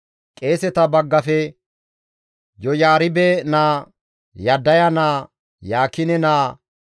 Qeeseta baggafe, Yoyaaribe naa, Yaddaya naa, Yaakine naa,